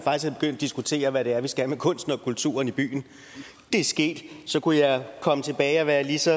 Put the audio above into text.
diskutere hvad det er vi skal med kunsten og kulturen i byen det er sket så kunne jeg komme tilbage og være lige så